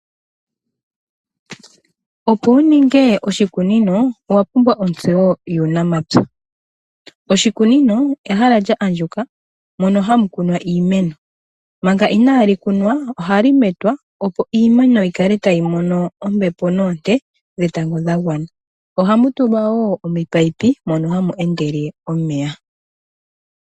Opo wuninge oshikunino owapumbwa otseyo yuunamapya. Oshikunino ehala lya andjuka mono hamukunwa iimeno, manga inaamukunwa, ohali metwa opo iimeno yikale tayimono ombepo noonte dhetango dhagwana. Ohamutulwa wo ominino mono hamu endele omeya.